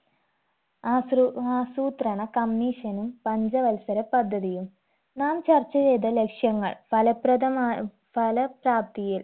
ആസ്രു ആസൂത്രണ commission നും പഞ്ചവത്സര പദ്ധതിയും നാം ചർച്ച ചെയ്ത ലക്ഷ്യങ്ങൾ ഫലപ്രദമാ ഫലപ്രാപ്തിയിൽ